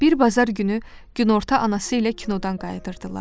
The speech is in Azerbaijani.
Bir bazar günü günorta anası ilə kinodan qayıdırdılar.